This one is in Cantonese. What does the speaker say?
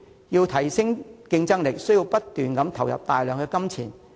為提升競爭力，政府需要不斷投入大量的金錢。